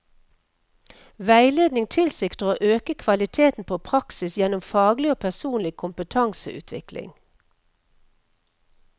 Veiledning tilsikter å øke kvaliteten på praksis gjennom faglig og personlig kompetanseutvikling.